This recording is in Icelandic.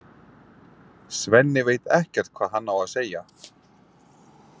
Svenni veit ekkert hvað hann á að segja.